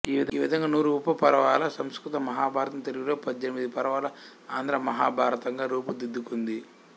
ఈ విధంగా నూరు ఉపపర్వాల సంస్కృత మహాభారతం తెలుగులో పదునెనిమిది పర్వాల ఆంధ్ర మహాభారతంగా రూపు దిద్దుకొంది